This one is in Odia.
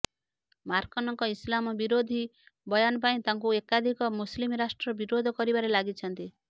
ମାର୍କନଙ୍କ ଇସଲାମ ବିରୋଧୀ ବୟାନ ପାଇଁ ତାଙ୍କୁ ଏକାଧିକ ମୁସଲିମ ରାଷ୍ଟ୍ର ବିରୋଧ କରିବାରେ ଲାଗିଛନ୍ତି